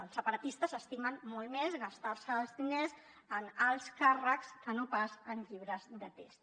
els separatistes s’estimen molt més gastar se els diners en alts càrrecs que no pas en llibres de text